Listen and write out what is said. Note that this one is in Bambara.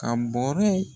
Ka bɔrɛ